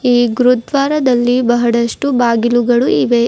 ಈ ಗುರುದ್ವಾರದಲ್ಲಿ ಬಹಳಷ್ಟು ಬಾಗಿಲುಗಳು ಇವೆ.